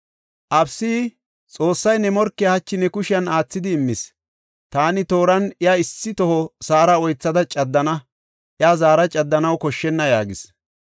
Abisayi, “Xoossay ne morkiya hachi ne kushen aathidi immis; taani tooran iya issi toho sa7ara oythada caddana; iya zaara caddanaw koshshenna” yaagis.